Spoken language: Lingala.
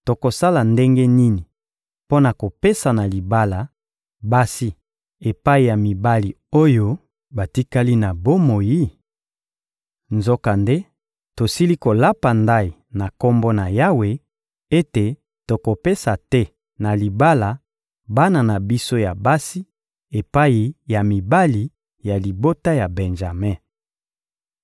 Tokosala ndenge nini mpo na kopesa na libala, basi epai ya mibali oyo batikali na bomoi? Nzokande tosili kolapa ndayi na Kombo na Yawe ete tokopesa te na libala bana na biso ya basi epai ya mibali ya libota ya Benjame.»